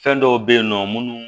Fɛn dɔw be yen nɔ munnu